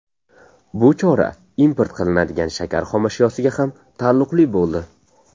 Bu chora import qilinadigan shakar xomashyosiga ham taalluqli bo‘ldi.